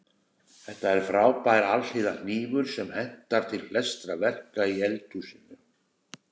Þetta er frábær alhliða hnífur sem hentar til flestra verka í eldhúsinu.